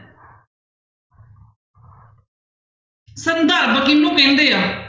ਸੰਦਰਭ ਕਿਹਨੂੰ ਕਹਿੰਦੇ ਆ?